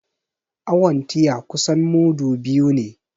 Awon tiya kusan mudu biyu ne